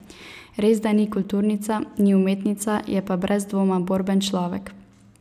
Res, da ni kulturnica, ni umetnica, je pa brez dvoma borben človek.